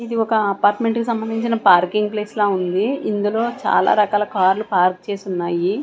ఇది ఒక అపార్ట్మెంట్ కి సంబంధించిన పార్కింగ్ ప్లేస్ లా ఉంది ఇందులో చాలా రకాల కార్లు పార్క్ చేసి ఉన్నాయి.